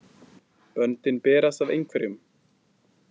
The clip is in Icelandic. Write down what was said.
Böndin berast að einhverjum